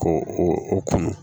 Ko o kun